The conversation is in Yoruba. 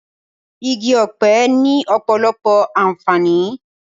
Igi ọ̀pẹ ni ọ̀pọ̀lọpọ̀ àǹfààní